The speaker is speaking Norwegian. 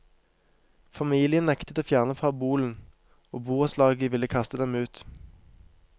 Familien nektet å fjerne parabolen, og borettslaget ville kaste dem ut.